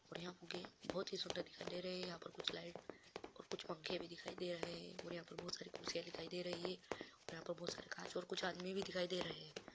और यहाँ फुग्गे बहुत ही सुंदर दिखाई दे रहे है यहाँ पर कुछ लाइट और कुछ पंखे भी दिखाई दे रहे है और यहाँ पर बहुत सारी कुर्सीयाँ दिखाई दे रही है और यहाँ पर बहुत सारे कांच और कुछ आदमी भी दिखाई दे रहे है।